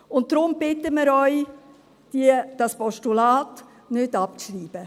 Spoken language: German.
Und deshalb bitten wir Sie, dieses Postulat nicht abzuschreiben.